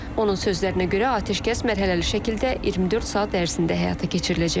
Onun sözlərinə görə, atəşkəs mərhələli şəkildə 24 saat ərzində həyata keçiriləcək.